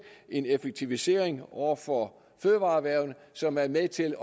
en effektivisering over for fødevareerhvervene som er med til